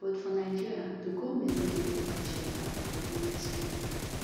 but for nigeria di goment no dey provide shelter for homeless pipo